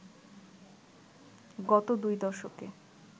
গত দুই দশকে